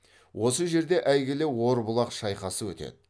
осы жерде әйгілі орбұлақ шайқасы өтеді